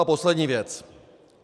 A poslední věc.